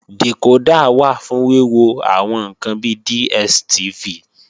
Dìkódà wà fún wíwo àwọn ǹkan bi DSTV